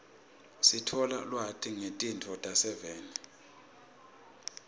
sithola ulwati ngetinto talelive